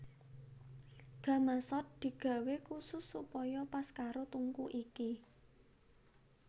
Gamasot digawé khusus supaya pas karo tungku iki